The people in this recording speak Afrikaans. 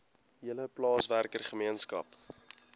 hele plaaswerker gemeenskap